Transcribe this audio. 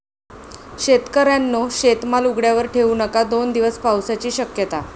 शेतकऱ्यांनो, शेतमाल उघड्यावर ठेऊ नका!, दोन दिवस पावसाची शक्यता